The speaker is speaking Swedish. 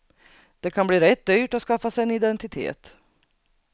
Det kan bli rätt dyrt att skaffa sig en identitet.